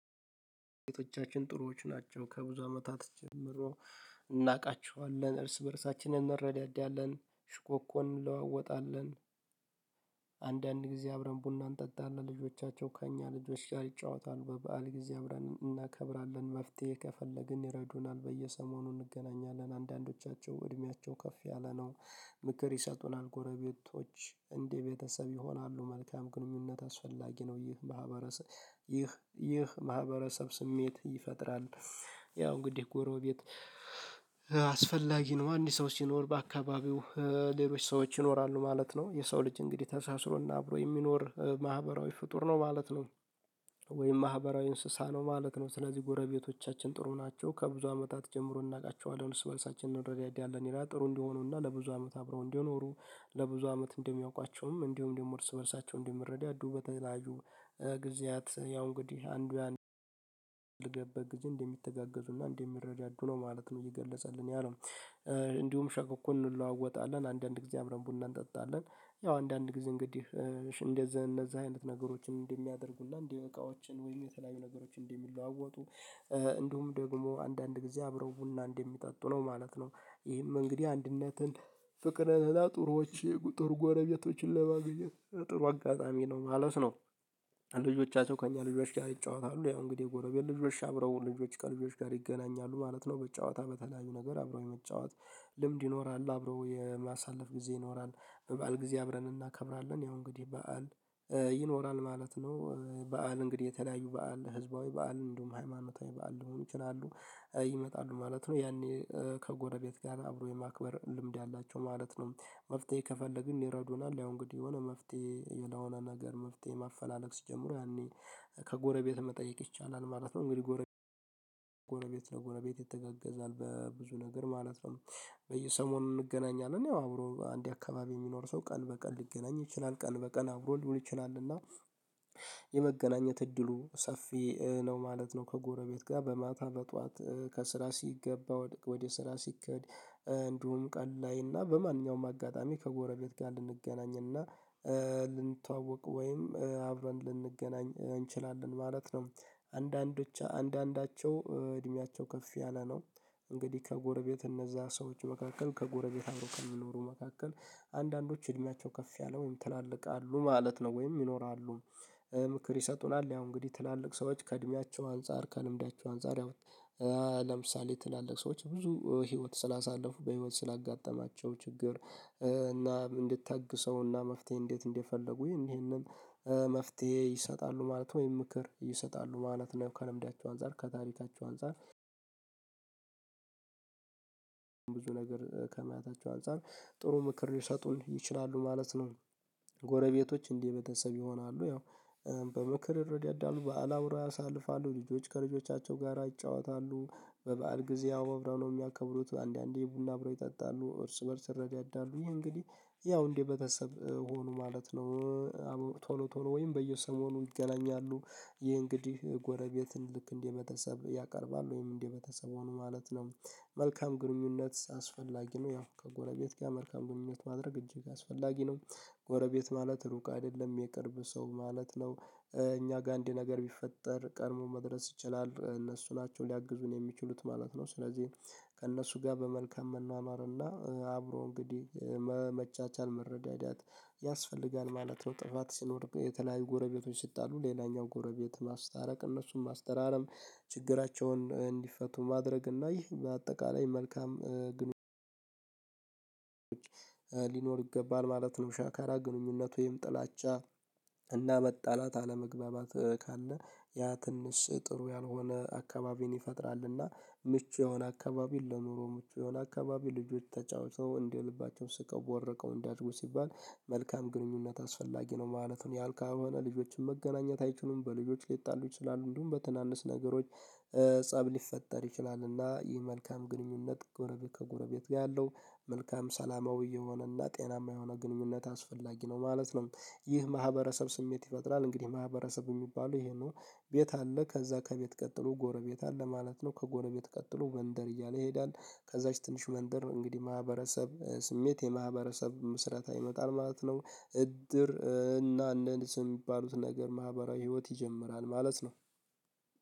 ቤተቻችን ጥሩዎች ናቸው ከብዙ አመታት ጀምሮ። እናውቃቸዋለን እርስ በእርሳችን እንረዳዳለን ሽኮኮን እንለዋወጣለን። አንዳንዴ አብረን ቡና እንጠጣለን ልጆቻቸው ከእኛ ልጆች ይጫወታሉ በበዓል ጊዜ አብረን እናከብራለን። መፍትሄ ከፈለግን ይረዱናል በየሰሞኑ እንገናኛለን አንዳንዶቻቸው እድሜያቸው ከፍ ያለ ነው። ቤተቻችን ጥሩዎች ናቸው ከብዙ አመታት ጀምሮ እናውቃቸዋለን እርስ በእርሳችን እንረዳዳለን። ሽኮኮን እንለዋወጣለን አንዳንዴ አብረን ቡና እንጠጣለን ልጆቻቸው ከእኛ ልጆች ይጫወታሉ በበዓል ጊዜ አብረን እናከብራለን። መፍትሄ ከፈለግን ይረዱናል በየሰሞኑ እንገናኛለን አንዳንዶቻቸው እድሜያቸው ከፍ ያለ ነው። ምክር ይሰጡናል ጎረቤቶች እንዴ ቤተሰብ ይሆናሉ። መልካም ግንኙነት አስፈላጊ ነው። ይህ ማህበረሰብ ይህ ይህ ማህበረሰብ ስሜት ይፈጥራል። ምክር ይሰጡናል ጎረቤቶች እንዴ ቤተሰብ ይሆናሉ። መልካም ግንኙነት አስፈላጊ ነው። ይህ ማህበረሰብ ይህ ይህ ማህበረሰብ ስሜት ይፈጥራል። ወይም ማህበራዊ እንስሳ ነው ማለት ነው። ስለዚህ ጎረቤቶቻችን ጥሩ ናቸው ከብዙ አመታት ጀምሮ እናውቃቸዋለን። እሱ በልሳችን እንረዳለን ይላል ጥሩ እንደሆኑና ለብዙ አመት አብረው እንዲኖሩ። ለብዙ አመት እንደሚያውቋቸውም እንዲሁም ደግሞ እርስ በእርሳቸው እንዲመረዳ አዱ ተላጁ። ጊዜያት ያው እንግዲህ አንዱ ያንዱ ልገበ ጊዜ እንደሚተጋገዙና እንደሚረዳዱ ነው ማለት ነው። የገለጸልን ያለው። እንዲሁም ሸኮኮን እንለዋወጣለን አንዳንድ ጊዜ አብረን ቡና እንጠጣለን። ያው አንዳንድ ጊዜ እንግዲህ እንደዚህ እነዛ አይነት ነገሮችን እንደሚያደርጉልና እንዲህ እቃዎችን ወይም የተለያዩ ነገሮችን እንዲህ የሚለዋወጡ። እንዲሁም ደግሞ አንዳንድ ጊዜ አብረው ቡና እንደሚጠጡ ነው ማለት ነው። ይህም እንግዲህ አንድነትን ፍቅርን እላ ጥሩዎች ጥሩ ጎረቤቶችን ለማግኘት ጥሩ አጋጣሚ ነው ማለት ነው። እንዲሁም ሸኮኮን እንለዋወጣለን አንዳንድ ጊዜ አብረን ቡና እንጠጣለን። ያው አንዳንድ ጊዜ እንግዲህ እንደዚህ እነዛ አይነት ነገሮችን እንደሚያደርጉልና እንዲህ እቃዎችን ወይም የተለያዩ ነገሮችን እንዲህ የሚለዋወጡ። እንዲሁም ደግሞ አንዳንድ ጊዜ አብረው ቡና እንደሚጠጡ ነው ማለት ነው። ይህም እንግዲህ አንድነትን ፍቅርን እላ ጥሩዎች ጥሩ ጎረቤቶችን ለማግኘት ጥሩ አጋጣሚ ነው ማለት ነው። ይመጣሉ ማለት ነው ያኔ ከጎረቤት ጋር አብሮ የማክበር ልምድ ያላቸው ማለት ነው። መፍትሄ ከፈለግን ይረዱናል አሁን እንግዲህ የሆነ መፍትሄ የለሆነ ነገር መፍትሄ ማፈላለግ ሲጀምረው ያኔ ከጎረቤት መጠየቅ ይቻላል ማለት ነው። እንግዲህ ጎረቤት እንግዲህ ጎረቤት ይመጣሉ ማለት ነው ያኔ ከጎረቤት ጋር አብሮ የማክበር ልምድ ያላቸው ማለት ነው። መፍትሄ ከፈለግን ይረዱናል። አሁን እንግዲህ የሆነ መፍትሄ የለሆነ ነገር መፍትሄ ማፈላለግ ሲጀምረው ያኔ ከጎረቤት መጠየቅ ይቻላል ማለት ነው። እንግዲህ ጎረቤት እንግዲህ ጎረቤት ለጎረቤት የተገገዛል በብዙ ነገር ማለት ነው። በየሰሞኑ እንገናኛለን ያው አብሮ አንዴ አካባቢ የሚኖር ሰው ቀን በቀን ሊገናኝ ይችላል ቀን በቀን አብሮ ሊችላል እና የመገናኘት እድሉ ሰፊ ነው ማለት ነው። ከጎረቤት ጋር በማታ መጥቷት ከስራ ሲገባ ወደ ወደ ስራ ሲከድ። እንዲሁም ቀን ላይ እና በማንኛውም አጋጣሚ ከጎረቤት ጋር ልንገናኝ እና ይመጣሉ ማለት ነው። ያኔ ከጎረቤት ጋር አብሮ የማክበር ልምድ ያላቸው ማለት ነው። መፍትሄ ከፈለግን ይረዱናል አሁን እንግዲህ የሆነ መፍትሄ የለሆነ ነገር መፍትሄ ማፈላለግ ሲጀምረው ያኔ ከጎረቤት መጠየቅ ይቻላል ማለት ነው። እንግዲህ ጎረቤት እንግዲህ ጎረቤት ለጎረቤት የተገገዛል በብዙ ነገር ማለት ነው። በየሰሞኑ እንገናኛለን። ያው አብሮ አንዴ አካባቢ የሚኖር ሰው ቀን በቀን ሊገናኝ ይችላል ቀን በቀን አብሮ ሊችላል እና የመገናኘት እድሉ ሰፊ ነው ማለት ነው። ከጎረቤት ጋር በማታ መጥቷት ከስራ ሲገባ ወደ ወደ ስራ ሲከድ። እንዲሁም ቀን ላይ እና በማንኛውም አጋጣሚ ከጎረቤት ጋር ልንገናኝ እና ብዙ ነገር ከማያታቸው አንፃር ጥሩ ምክር ሊሰጡን ይችላሉ ማለት ነው። ጎረቤቶች እንዲህ ቤተሰብ ይሆናሉ። ያው በምክር እርዳታ ያዳሉ በዓል አብረው ያሳልፋሉ ልጆች ከልጆቻቸው ጋር አይጫወታሉ በበዓል ጊዜ አውብራው ነው የሚያከብሩት አንዳንዴ ቡና አብሮ ይጠጣሉ እርስ በእርስ ይረዳዳሉ። እንግዲህ ያው እንዴ ቤተሰብ ሆኖ ማለት ነው። ቶሎ ቶሎ ወይም በየሰሞኑ ይገናኛሉ። ይሄ እንግዲህ ጎረቤትን ልክ እንዲህ መተሰብ ያቀርባል ወይም እንዲህ ቤተሰብ ሆኖ ማለት ነው። መልካም ግንኙነት አስፈላጊ ነው። ያው ከጎረቤት ጋር መልካም ግንኙነት ማድረግ እጅግ አስፈላጊ ነው። ጎረቤት ማለት ሩቅ አይደለም የቅርብ ሰው ማለት ነው። እኛ ጋር እንዲህ ነገር ቢፈጠር ቀድሞ መድረስ ይችላል እነሱ ናቸው ሊያግዙን የሚችሉት ማለት ነው። ስለዚህ ከእነሱ ጋር በመልካም መኗኗርና አብሮ እንግዲህ መቻቻል መረዳዳት ያስፈልጋል ማለት ነው። ጥፋት ሲኖር የተለያዩ ጎረቤቶች ሲጣሉ ሌላኛው ጎረቤት ማስታረቅ እነሱም ማስተራረም። ችግራቸውን እንዲፈቱ ማድረግ እና ይህ በአጠቃላይ መልካም ግን ግንኙነቶች ሊኖር ይገባል ማለት ነው። ሻካራ ግንኙነቱ ወይም ጥላቻ እና መጣላት አለመግባባት ካለ ያ ትንሽ ጥሩ ያልሆነ አካባቢን ይፈጥራልና። ምቹ የሆነ አካባቢን ለኑሮ ምቹ የሆነ አካባቢ ልጆች ተጫውተው እንደ ልባቸው ስቀው ወረቀው እንዲያድጉ ሲባል መልካም ግንኙነት አስፈላጊ ነው። ማለትም ያልካል የሆነ ልጆችን መገናኘት አይችሉም። በልጆች ሊጣሉ ይችላሉ። እንዲሁም በትናንሽ ነገሮች ፀብ ሊፈጠር ይችላል። እና ይህ መልካም ግንኙነት ጎረቤት ከጎረቤት ጋር ያለው መልካም ሰላማዊ የሆነና ጤናማ የሆነ ግንኙነት አስፈላጊ ነው ማለት ነው። ይህ ማህበረሰብ ስሜት ይፈጥራል እንግዲህ ማህበረሰብ የሚባለው ይሄ ነው። ቤት አለ ከዛ ከቤት ቀጥሎ ጎረቤት አለ ማለት ነው። ከጎረቤት ቀጥሎ መንደር እያለ ይሄዳል። ከዛች ትንሽ መንደር እንግዲህ ማህበረሰብ ስሜት የማህበረሰብ ምስረታ ይመጣል ማለት ነው። እድር እና እንደን ስንባሉት ነገር ማህበራዊ ህይወት ይጀምራል ማለት ነው።